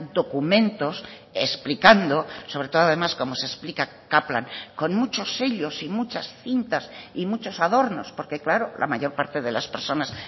documentos explicando sobre todo además como se explica kaplan con muchos sellos y muchas cintas y muchos adornos porque claro la mayor parte de las personas